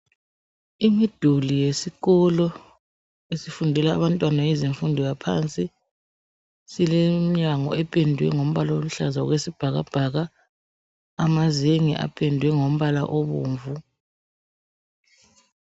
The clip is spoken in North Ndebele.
Imiduli yesikolo esifundela abantwana yezemfundo yaphansi silemnyango ependwe ngombala oluhlaza okwesibhakabhaka, amazenge apendwe ngombala obomvu.